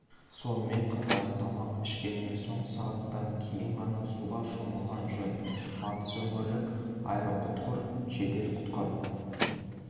сонымен қатар тамақ ішкеннен соң сағаттан кейін ғана суға шомылған жөн батыс өңірлік аэроұтқыр жедел құтқару